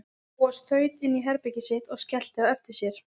Bóas þaut inn í herbergið sitt og skellti á eftir sér.